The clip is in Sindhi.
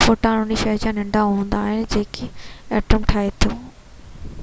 فوٽان ان شئي کان ننڍا هوندا آهن جيڪو ايٽم ٺاهي ٿو